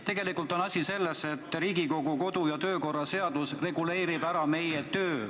Tegelikult on asi selles, et meie tööd reguleerib Riigikogu kodu- ja töökorra seadus.